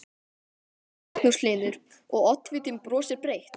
Magnús Hlynur: Og, oddvitinn brosir breytt?